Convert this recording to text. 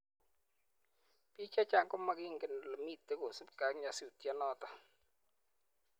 BIK che chang ko magingen ole mitei kosubgei ak nyasutiet notok.